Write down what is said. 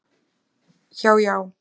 hjá Já.